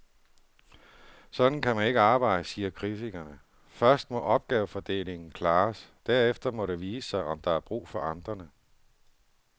Sådan kan man ikke arbejde, siger kritikerne, først må opgavefordelingen klares, derefter må det vise sig, om der er brug for amterne.